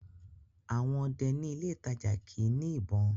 àwọn ọdẹ ní ilé ìtajà kìí ní ìbọn